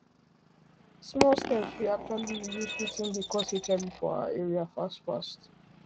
small steps fit actually reduce watin dey cause hiv for our area fast fast